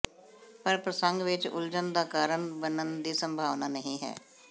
ਪਰ ਪ੍ਰਸੰਗ ਵਿਚ ਉਲਝਣ ਦਾ ਕਾਰਣ ਬਣਨ ਦੀ ਸੰਭਾਵਨਾ ਨਹੀਂ ਹੈ